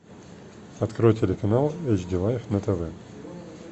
открой телеканал эйч ди лайф на тв